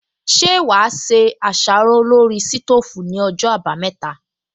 Ṣé wà á se àsáró lórí sítóòfù ní ọjọ́ àbámẹ́ta